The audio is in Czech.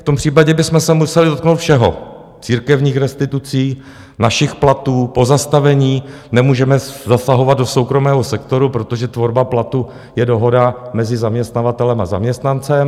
V tom případě bychom se museli dotknout všeho: církevních restitucí, našich platů, pozastavení, nemůžeme zasahovat do soukromého sektoru, protože tvorba platu je dohoda mezi zaměstnavatelem a zaměstnancem.